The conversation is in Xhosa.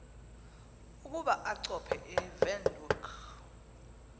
ukuba achophe ewindhoek